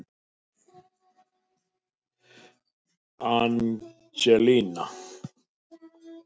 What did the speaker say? Angela